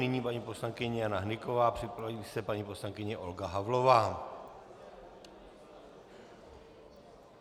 Nyní paní poslankyně Jana Hnyková, připraví se paní poslankyně Olga Havlová.